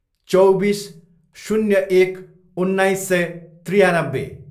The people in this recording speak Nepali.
चौबिस, शून्य एक, उन्नाइस सय त्रियानब्बे